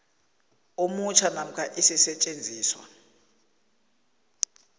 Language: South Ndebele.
omutjha namkha isisetjenziswa